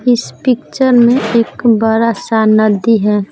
इस पिक्चर में एक बड़ा सा नदी है।